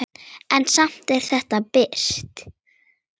En samt er þetta birt.